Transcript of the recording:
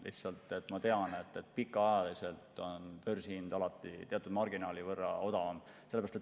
Lihtsalt ma tean, et pikaajaliselt on börsihind alati teatud marginaali võrra odavam.